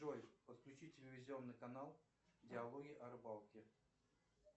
джой подключи телевизионный канал диалоги о рыбалке